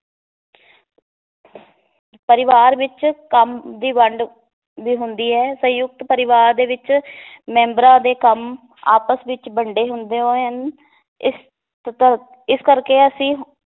ਪਰਿਵਾਰ ਵਿਚ ਕੰਮ ਦੀ ਵੰਡ ਵੀ ਹੁੰਦੀ ਏ ਸੰਯੁਕਤ ਪਰਿਵਾਰ ਦੇ ਵਿਚ ਮੈਂਬਰਾਂ ਦੇ ਕੰਮ ਆਪਸ ਵਿਚ ਵੰਡੇ ਹੁੰਦੇ ਹਨ ਇਸ ਇਸ ਕਰਕੇ ਅਸੀਂ